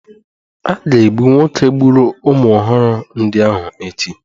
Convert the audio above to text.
A ga-egbu nwoke gburu ụmụ ọhụrụ ndị ahụ echi